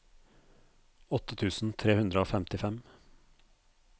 åtte tusen tre hundre og femtifem